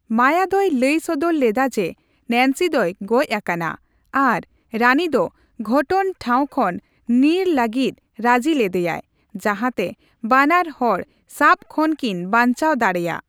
ᱢᱟᱭᱟ ᱫᱚᱭ ᱞᱟᱹᱭ ᱥᱚᱫᱚᱨ ᱞᱮᱫᱟ ᱡᱮ ᱱᱮᱱᱥᱤ ᱫᱚᱭ ᱜᱚᱡᱽ ᱟᱠᱟᱱᱟ, ᱟᱨ ᱨᱟᱱᱤ ᱫᱚ ᱜᱷᱚᱴᱚᱱ ᱴᱷᱟᱣ ᱠᱷᱚᱱ ᱧᱤᱨ ᱞᱟᱹᱜᱤᱫ ᱨᱟᱹᱡᱤ ᱞᱮᱫᱮᱭᱟᱭ ᱡᱟᱸᱦᱟᱛᱮ ᱵᱟᱱᱟᱨ ᱦᱚᱲ ᱥᱟᱵ ᱠᱷᱚᱱ ᱠᱤᱱ ᱵᱟᱧᱪᱟᱣ ᱫᱟᱲᱮᱭᱟᱜ ᱾